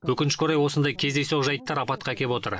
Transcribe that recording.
өкінішке орай осындай кездейсоқ жайттар апатқа әкеп отыр